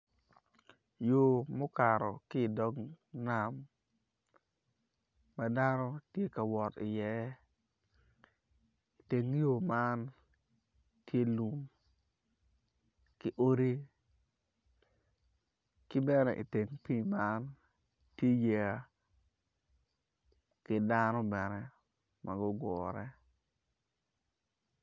Yo mukato ki dog nam ma dano tye ka wot i iye iteng yo man tye lum ki odi ki bene iteng pii man tye yeya ki dano bene ma gugure